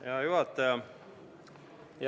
Hea juhataja!